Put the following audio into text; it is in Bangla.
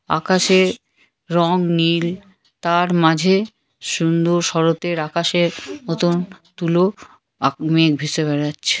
আকাশে রং নীল তার মাঝে সুন্দর শরতের আকাশে মতন তুলো ভেসে বেড়াচ্ছে।